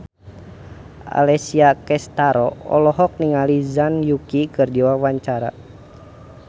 Alessia Cestaro olohok ningali Zhang Yuqi keur diwawancara